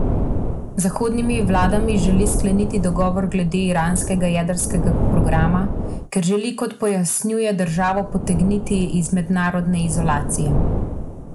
Z zahodnimi vladami želi skleniti dogovor glede iranskega jedrskega programa, ker želi, kot pojasnjuje, državo potegniti iz mednarodne izolacije.